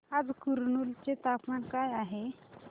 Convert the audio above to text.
आज कुरनूल चे तापमान काय आहे